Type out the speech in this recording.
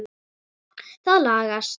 Það lagast.